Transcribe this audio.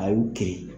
A y'u kiri